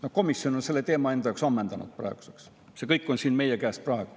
Komisjon on selle teema enda jaoks praeguseks ammendanud, kõik on nüüd meie kätes.